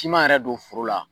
K'i ma yɛrɛ don foro la.